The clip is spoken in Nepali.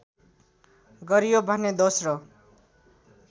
गरियो भने दोस्रो